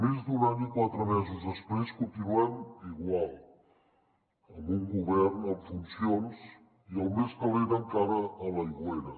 més d’un any i quatre mesos després continuem igual amb un govern en funcions i el més calent encara a l’aigüera